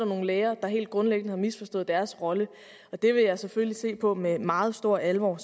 nogle læger der helt grundlæggende har misforstået deres rolle det vil jeg selvfølgelig se på med meget stor alvor